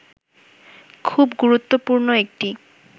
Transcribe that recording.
খুব গুরুত্বপূর্ণ একটি